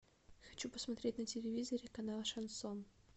хочу посмотреть на телевизоре канал шансон